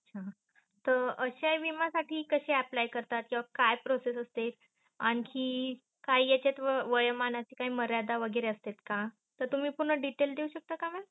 त अस्या विमासाठी कसे apply करतात किवा काय process असते आणखी? काय याचत वयोमानात काय मर्यादा वगैरे असतात का, तर तुम्ही पुन्हा detail देऊ शकता का मग?